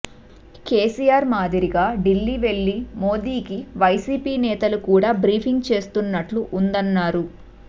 కేసీఆర్ మాదిరిగా ఢిల్లీ వెళ్లి మోదీకి వైసీపీ నేతలు కూడా బ్రీఫింగ్ చేస్తున్నట్లు ఉందన్నారు